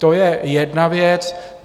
To je jedna věc.